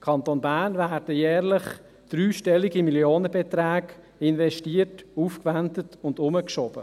Kanton Bern, werden jährlich dreistellige Millionenbeträge investiert, aufgewendet und herumgeschoben.